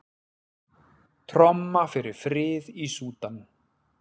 Tromma fyrir frið í Súdan